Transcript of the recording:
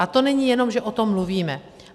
A to není jenom, že o tom mluvíme.